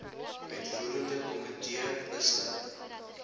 uitvoerende komitee besluit